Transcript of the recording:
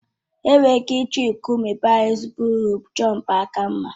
Enwere ike iji nkume bàrá ezigbo uru chọọ mgbaaka mma